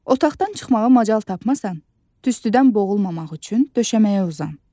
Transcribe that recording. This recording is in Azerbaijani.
Otaqdan çıxmağa macal tapmasan, tüstüdən boğulmamaq üçün döşəməyə uzan.